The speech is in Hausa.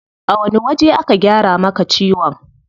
A wani waje aka gyara maka ciwon?